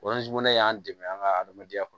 ne y'an dɛmɛ an ka adamadenya kɔnɔ